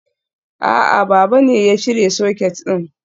A'a, baba ne ya cire socket din.